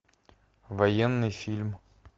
военный фильм